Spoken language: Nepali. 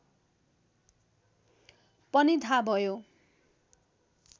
पनि थाह भयो